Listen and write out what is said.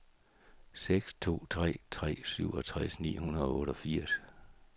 seks to tre tre syvogtres ni hundrede og otteogfirs